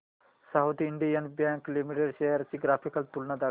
south Indian Bank Limited shares ची graphical तुलना दाखव